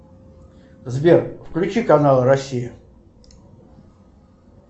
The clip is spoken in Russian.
сбер включи канал россия